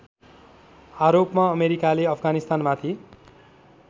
आरोपमा अमेरिकाले अफगानिस्तानमाथि